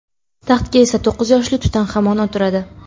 Taxtga esa to‘qqiz yoshli Tutanxamon o‘tiradi.